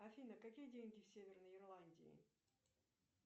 афина какие деньги в северной ирландии